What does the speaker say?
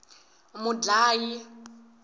mudlayi